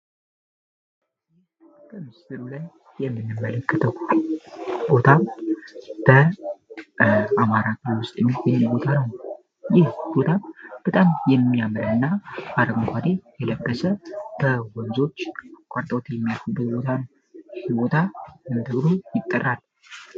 በምስሉ ላይ የምንመለከተው ቦታ አማራ ክልል የምንናየው የምናገኘው ቦታ ሲሆን በአረንጓዴ የተሸፈነ ወንዞች አካባቢ የሚገኝ ቦታ ነው ይህ ቦታ ምን ተብሎ ይጠራል?